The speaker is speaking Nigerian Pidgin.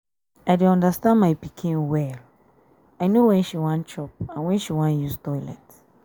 i dey understand my pikin well. i no when she wan chop and when she wan use toilet